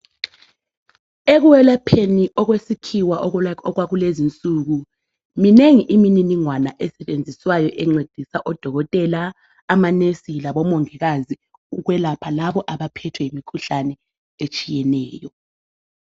Ekulapheni okwesikhiwa okwakulezi insuku, minengi imininingwana esetshenziswayo encedisa odokotela amanesi labomungikazi okwelapha labo abaphethwe yimukhuhlane etshiyeneyo.